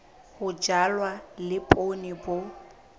ho jalwa le poone bo